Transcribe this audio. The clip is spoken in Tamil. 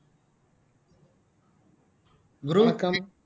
வணக்கம்